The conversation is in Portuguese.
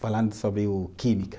falando sobre o química.